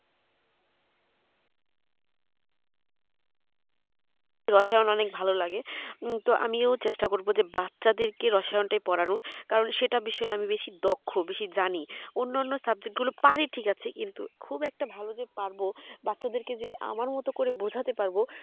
রসায়ন অনেক ভালো লাগে তো আমি ও চেষ্টা করবো বাচ্চা দের কে রসায়ন টাই পড়ানোর কারণ সেটা বিষয়ে আমি বেশি দক্ষ বেশি জানি অন্যানো subject গুলো পারি ঠিক আছে কিন্তু খুব একটা ভালো যে পারবো বাচ্চা দেরকে যে আমার মতো করে বুঝতে পারবো